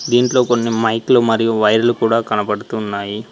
దీంట్లో కొన్ని మైక్ లు మరియు వైర్లు కూడా కనబడుతున్నాయి.